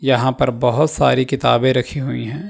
यहां पर बहोत सारी किताबें रखी हुई हैं।